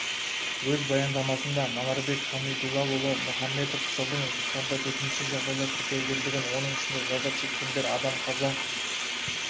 өз баяндамасында манарбек хамидуллаұлы мұханбетов жылдың тоқсанында төтенше жағдай тіркелгендігін оның ішінде зардап шеккендер адам қаза